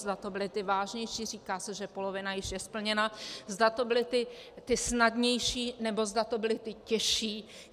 Zda to byly ty vážnější - říká se, že polovina již je splněna - zda to byly ty snadnější, nebo zda to byly ty těžší.